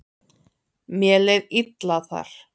Mér leið illa þar.